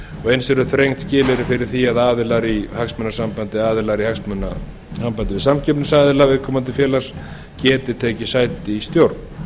og eins eru þrengd skilyrði fyrir því að aðilar í hagsmunasambandi eða aðilar í hagsmunasambandi við samkeppnisaðila viðkomandi félags geti tekið sæti í stjórn